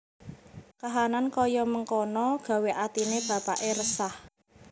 Kahanan kaya mengkana gawé atine bapakke resah